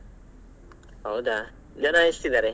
ಹೌದಾ ಜನ ಎಷ್ಟಿದಾರೆ?